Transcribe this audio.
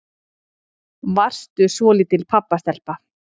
Varstu svolítil pabbastelpa?